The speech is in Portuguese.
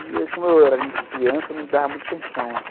E, como eu era criança, não dava muita atenção, assim.